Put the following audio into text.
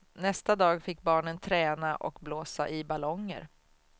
Nästa dag fick barnen träna och blåsa i ballonger.